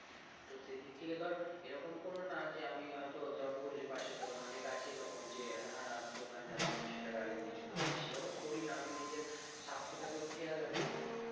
তো সেদিক থেকে ধর এরকম কোন না যে আমি হয়তো যেমন বললি পাশের দোকানে অনেক আছে এরকম যে হ্যাঁ দোকান যাচ্ছি তো সেটা গাড়ি নিয়ে চলে গেলাম সেরকম করি না আমি নিজের স্বাস্থ্যটাকেও খেয়াল রাখি এবং